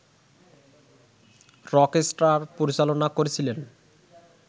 Rockstar পরিচালনা করেছিলেন